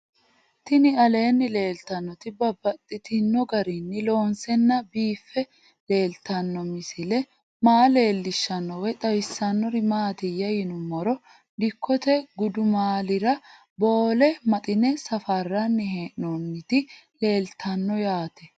Tinni aleenni leelittannotti babaxxittinno garinni loonseenna biiffe leelittanno misile maa leelishshanno woy xawisannori maattiya yinummoro dikkotte gudummaallira Boole Maxine safaaranni hee'noonniti leelittanno yaatte